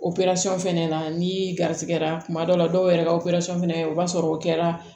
operasɔn fɛnɛ na ni garisigɛra tuma dɔw la dɔw yɛrɛ ka operasɔn fana o b'a sɔrɔ o kɛra